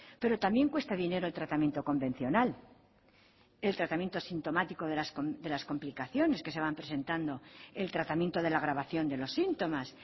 pero también cuesta dinero el tratamiento convencional el tratamiento sintomático de las complicaciones que se van presentando el tratamiento de la agravación de los síntomas